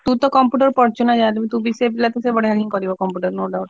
ତୁ ତ computer ପଢିଚୁ ନାଁ ଯାହା ହେଲେ।